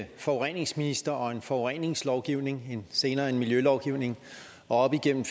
en forureningsminister og en forureningslovgivning senere en miljølovgivning og op igennem